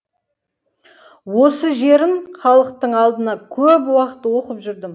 осы жерін халықтың алдында көп уақыт оқып жүрдім